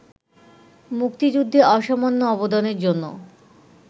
মুক্তিযুদ্ধে অসামান্য অবদানের জন্য